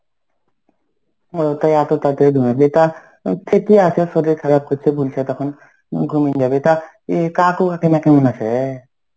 ওরা তাই এত তাড়াতাড়ি ঘুমাবি টা ঠিকই আছে শরীর খারাপ করছে বলছে তখন ঘুমিয়ে যাবে তা এ কাকু কাকিমা কেমন আছে?